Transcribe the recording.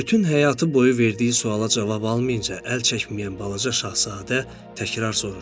Bütün həyatı boyu verdiyi suala cavab almayınca əl çəkməyən balaca Şahzadə təkrar soruşdu.